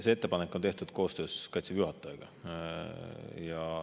See ettepanek on tehtud koostöös Kaitseväe juhatajaga.